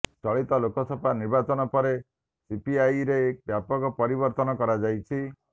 ଚଳିତ ଲୋକସଭା ନିର୍ବାଚନ ପରେ ସିପିଆଇରେ ବ୍ୟାପକ ପରିବର୍ତ୍ତନ କରାଯାଇଛି